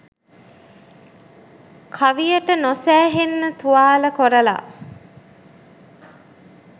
කවියට නොසෑහෙන්න තුවාල කොරලා